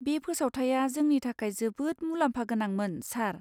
बे फोसावथाइआ जोंनि थाखाय जोबोद मुलाम्फागोनांमोन, सार।